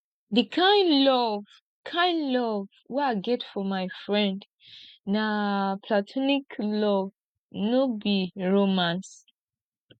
di kain love kain love wey i get for my friend na platonic love no be romance